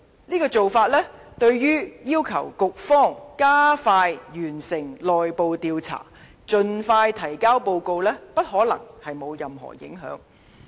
這種做法，對於要求局方加快完成內部調查，盡快提交報告，不可能沒有任何影響。